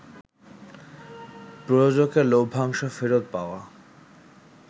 প্রযোজকের লভ্যাংশ ফেরত পাওয়া